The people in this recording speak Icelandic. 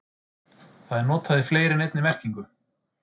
Það er notað í fleiri en einni merkingu.